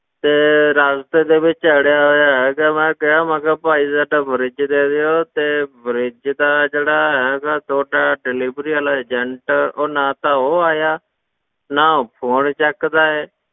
ਤੇ ਰਾਸਤੇ ਦੇ ਵਿੱਚ ਅੜਿਆ ਹੋਇਆ ਹੈ ਤੇ ਮੈਂ ਕਿਹਾ ਮੈਂ ਕਿਹਾ ਭਾਈ ਸਾਡਾ fridge ਦੇ ਦਿਓ ਤੇ fridge ਤਾਂ ਜਿਹੜਾ ਹੈਗਾ ਤੁਹਾਡਾ delivery ਵਾਲਾ agent ਉਹ ਨਾ ਤਾਂ ਉਹ ਆਇਆ, ਨਾ ਉਹ phone ਚੁੱਕਦਾ ਹੈ